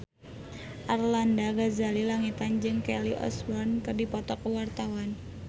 Arlanda Ghazali Langitan jeung Kelly Osbourne keur dipoto ku wartawan